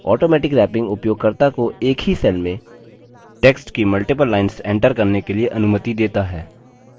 automatic wrapping उपयोगकर्ता को एक ही cell में text की multiple lines enter करने के लिए अनुमति देता है